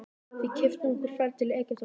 Við keyptum okkur ferð til Egyptalands.